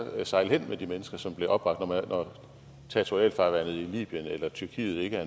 sejle hen med de mennesker som blev opbragt når territorialfarvandet i libyen eller tyrkiet ikke